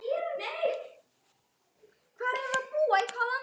Teppið leit vel út.